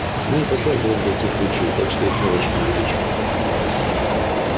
мы не посылаем туда никаких лучей так что их незачем увеличивать